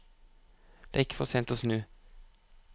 Det er ikke for sent å snu.